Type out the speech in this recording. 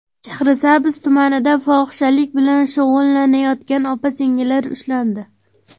Shahrisabz tumanida fohishalik bilan shug‘ullanayotgan opa-singillar ushlandi.